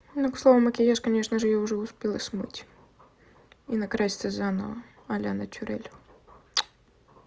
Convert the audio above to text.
ну к слову макияж конечно же уже успела смыть и накраситься заново а-ля натюрэль